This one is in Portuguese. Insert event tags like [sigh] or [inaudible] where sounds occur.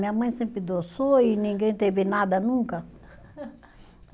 Minha mãe sempre adoçou e ninguém teve nada nunca. [laughs]